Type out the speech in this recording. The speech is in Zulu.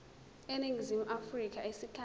eningizimu afrika isikhathi